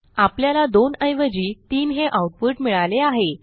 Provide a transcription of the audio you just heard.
आपल्याला 2 ऐवजी 3 हे आऊटपुट मिळाले आहे